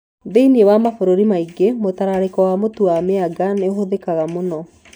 Thĩinĩ wa mabũrũri maingĩ, mũtararĩko wa mũtu wa cassava nĩ ũhũthĩkaga mũno.